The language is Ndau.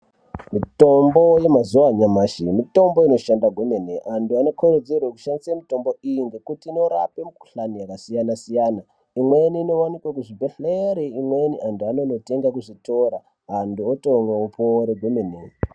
Mitombo yamazuwa anyamashi mitombo inoshanda kwemene antu anokkurudzirwe kushandise mitombo iyi ngekuti inorape mikhuhlani yakasiyanasiyana imweni inowanike kuzvibhehlere imweni anhu anonotenga kuzvitoro antu otomwa opona kwemene.